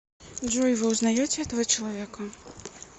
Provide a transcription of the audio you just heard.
джой вы узнаете этого человека